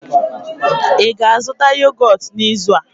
ị ga-azụta yogọt n'izu a?